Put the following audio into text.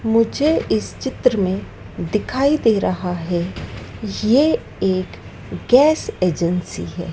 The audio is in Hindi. मुझे इस चित्र में दिखाई दे रहा हैं ये एक गैस एजेंसी हैं।